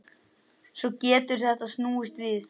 Svo getur þetta snúist við.